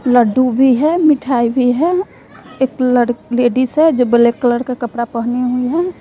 लडडू भी है मिठाई भी है एक लड़ लेडीज है जो ब्लैक का कपड़ा पहनी हुई है।